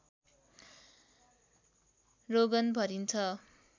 रोगन भरिन्छ